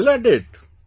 I am still at it